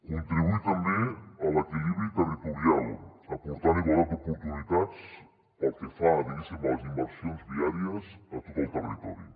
contribuir també a l’equilibri territorial aportant igualtat d’oportunitats pel que fa diguéssim a les inversions viàries a tot el territori